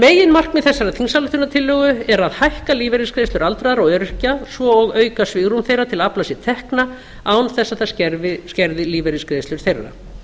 meginmarkmið þessarar þingsályktunartillögu er að hækka lífeyrisgreiðslur aldraðra og öryrkja svo og auka svigrúm þeirra til að afla sér tekna án þess að það skerði lífeyrisgreiðslur þeirra